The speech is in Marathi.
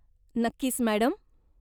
नक्कीच, मॅडम.